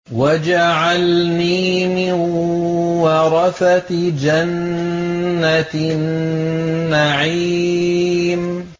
وَاجْعَلْنِي مِن وَرَثَةِ جَنَّةِ النَّعِيمِ